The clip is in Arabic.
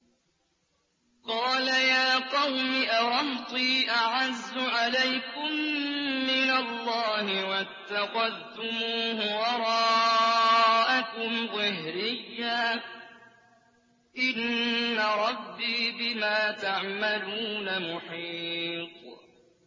قَالَ يَا قَوْمِ أَرَهْطِي أَعَزُّ عَلَيْكُم مِّنَ اللَّهِ وَاتَّخَذْتُمُوهُ وَرَاءَكُمْ ظِهْرِيًّا ۖ إِنَّ رَبِّي بِمَا تَعْمَلُونَ مُحِيطٌ